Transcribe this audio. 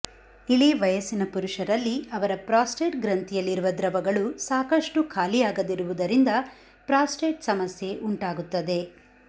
ಇಳಿವಯಸ್ಸಿನ ಪುರುಷರಲ್ಲಿ ಅವರ ಪ್ರಾಸ್ಟೇಟ್ಗ್ರಂಥಿಯಲ್ಲಿರುವ ದ್ರವಗಳು ಸಾಕಷ್ಟು ಖಾಲಿಯಾಗದಿರುವುದರಿಂದ ಪ್ರಾಸ್ಟೇಟ್ ಸಮಸ್ಯೆ ಉಂಟಾಗುತ್ತದೆ